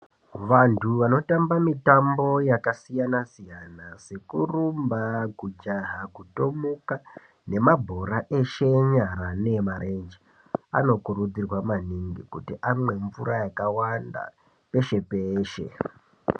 Vantu vanotamba mitambo yakasiyana-siyana sekurumba, kujaha, kutomuka, nembabhora eshe enyara neemarenje anokurudzirwa maning kuti amwe mvura yakawanda peshe-peshe.